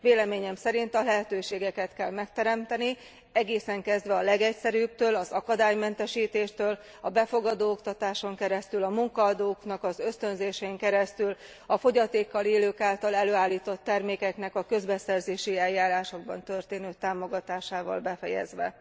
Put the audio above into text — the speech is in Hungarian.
Véleményem szerint a lehetőségeket kell megteremteni, egészen kezdve a legegyszerűbbtől, az akadálymentesítéstől, a befogadó oktatáson keresztül, a munkaadóknak az ösztönzésén keresztül, a fogyatékkal élők által előállított termékeknek a közbeszerzési eljárásokban történő támogatásával befejezve.